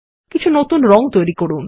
কিছু নতুন রং তৈরি করুন